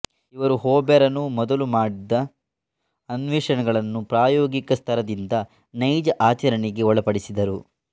ಇವರು ಹ್ಯೊಬರನು ಮೊದಲು ಮಾಡಿದ್ದ ಅನ್ವೇಷಣೆಗಳನ್ನು ಪ್ರಾಯೋಗಿಕ ಸ್ತರದಿಂದ ನೈಜ ಆಚರಣೆಗೆ ಒಳಪಡಿಸಿದರು